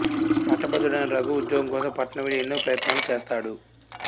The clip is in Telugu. పట్టభద్రుడైన రఘు ఉద్యోగం కోసం పట్నం వెళ్ళి ఎన్నో ప్రయత్నాలు చేస్తాడు